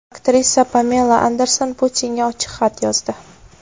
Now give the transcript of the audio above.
Aktrisa Pamela Anderson Putinga ochiq xat yozdi.